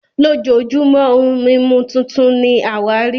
lojojumo ohun mimu titun ni awari